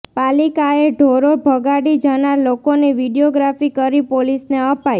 પાલિકાએ ઢોરો ભગાડી જનાર લોકોની વીડિયોગ્રાફી કરી પોલીસને અપાઈ